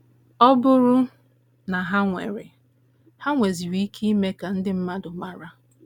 Ọ bụrụ na ha nwere, ha nweziri ike ime ka ndị mmadụ mara. ”